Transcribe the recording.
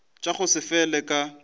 tša go se fele ka